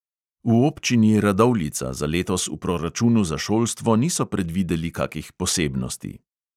V občini radovljica za letos v proračunu za šolstvo niso predvideli kakih posebnosti.